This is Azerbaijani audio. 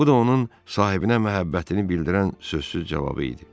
Bu da onun sahibinə məhəbbətini bildirən sözsüz cavabı idi.